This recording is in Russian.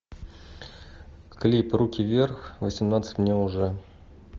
клип руки вверх восемнадцать мне уже